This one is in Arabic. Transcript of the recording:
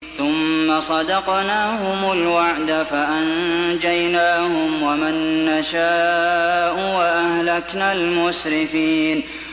ثُمَّ صَدَقْنَاهُمُ الْوَعْدَ فَأَنجَيْنَاهُمْ وَمَن نَّشَاءُ وَأَهْلَكْنَا الْمُسْرِفِينَ